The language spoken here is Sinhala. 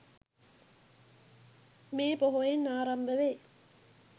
මේ පොහොයෙන් ආරම්භ වේ.